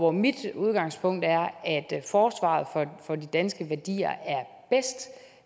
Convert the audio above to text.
er mit udgangspunkt at forsvaret for de danske værdier